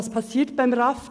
Was geschieht beim RAV?